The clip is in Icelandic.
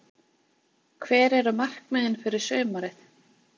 Hver eru markmiðin fyrir sumarið?